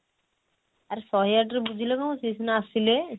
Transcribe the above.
ଆରେ ଶହେ ଆଠ ରେ ବୁଝିଲେ କଣ ହବ ସିଏ ସିନା ଆସିଲେ